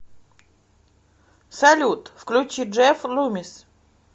салют включи джефф лумис